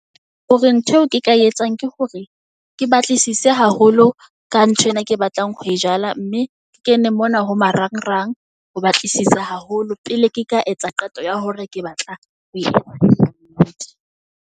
Hore ntho eo ke ka etsang ke hore ke batlisise haholo ka nthwena e ke batlang ho e jala. Mme ke kene mona ho marang rang ho batlisisa haholo. Pele ke ka etsa qeto ya hore ke batla ho .